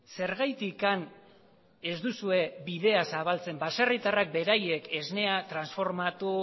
zergatik ez duzue bidea zabaltzen baserritarrek beraiek esnea transformatu